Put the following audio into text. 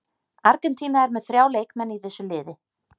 Argentína er með þrjá leikmenn í þessu liði.